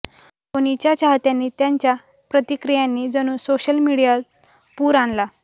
धोनीच्या चाहत्यांनी त्यांच्या प्रतिक्रियांनी जणू सोशल मीडियाती पूर आणला